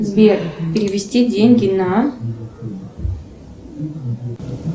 сбер перевести деньги на